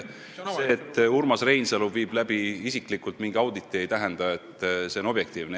See, et Urmas Reinsalu viib isiklikult läbi mingi auditi, ei tähenda, et see on objektiivne.